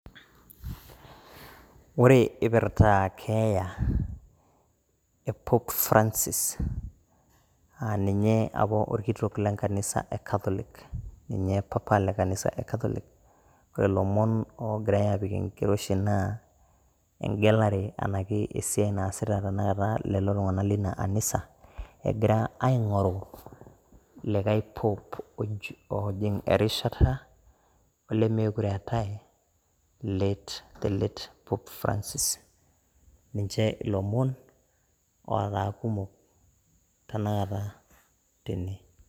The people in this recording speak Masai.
ore eipirta keeya e pop francis.aa ninye apa orkitok lenkanisa e catholic. ninye papa lenkanisa e catholic. ore ilomon oogirae aapik enkiroshi naa egelare anake esiai naasita iltunganak leina anisa, egira aing'oru likae pop ojing' erishata olemeekure eetae late the late pop francis. ninche ilomon ootaa kumok tenakata tene.